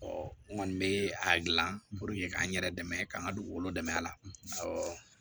n kɔni bɛ a dilan ka n yɛrɛ dɛmɛ ka n ka dugukolo dɛmɛ a la